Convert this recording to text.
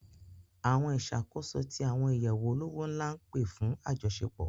Àwọn ìṣàkóso tí àwọn ìyẹ̀wù olówó ńlá ń pè fún àjọṣepò